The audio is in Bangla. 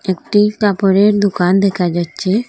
একটি কাপড়ের দুকান দেখা যাচচে।